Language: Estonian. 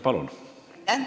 Palun!